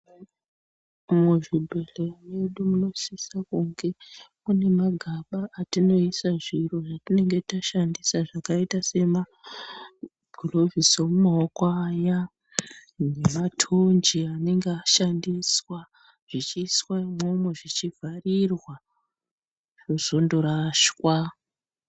Muzvibhedhleya mwedu munosisa kunge mune zvimagaba mwatinoisa zviro zvatinenge tashandisa zvakaita sema gulovhosi emumaoko aya nematonje anenge ashandiswazvichiiswa imwomo zvichivharirwa zvozondorashwa.